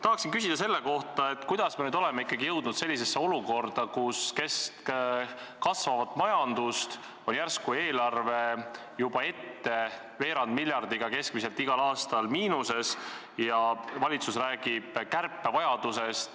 Tahan küsida selle kohta, kuidas me nüüd oleme ikkagi jõudnud sellisesse olukorda, kus kesk kasvavat majandust on järsku eelarve juba ette keskmiselt veerand miljardiga igal aastal miinuses ja valitsus räägib kärpevajadusest.